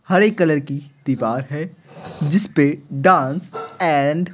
हरे colour की दीवार है जिस पे डांस एंड --